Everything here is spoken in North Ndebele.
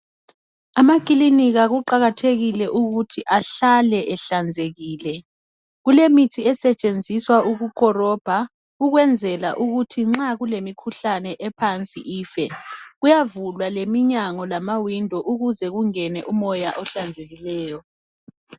Amakilinika kuqakathekile ukuthi ahlale ehlanzekile kulemithi esetshenziswa ukukolobha ukwenzela ukuthi nxa kulemikhuhlane ephansi ife kuyavulwa leminyango lamawindi ukuze kungene umoya ohlanzekileyo.